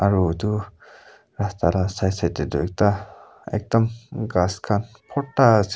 aro etu rasta la side side de toh ekta ekdam ghas khan borta ase.